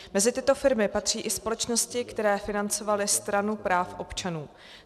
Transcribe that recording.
Mezi tyto firmy patří i společnosti, které financovaly Stranu práv občanů.